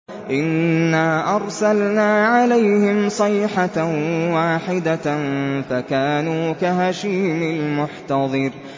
إِنَّا أَرْسَلْنَا عَلَيْهِمْ صَيْحَةً وَاحِدَةً فَكَانُوا كَهَشِيمِ الْمُحْتَظِرِ